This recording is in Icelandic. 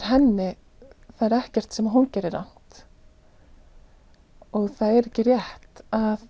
henni það er ekkert sem hún gerir rangt og það er ekki rétt að